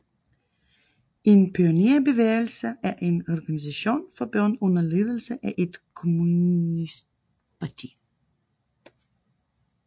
En pionerbevægelse er en organisation for børn under ledelse af et kommunistparti